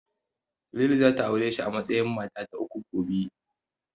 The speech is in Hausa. Lili zata aure shi a matsayin mata ta uku, gobe.